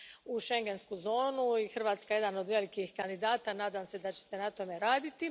u schengensku zonu i Hrvatska je jedan od velikih kandidata i nadam se da ćete na tome raditi.